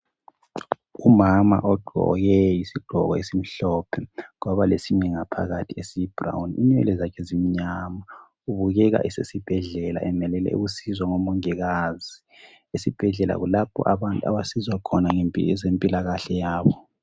Umama ogqoke isigqoko esimhlophe lesinye ngaphakathi esiyibrown inwele zakhe zimnyama, ubukeka esesibhedlela emelele ukusizwa ngomongikazi esibhedlela kulapho abantu abasizwa ngezempilakahle yabo.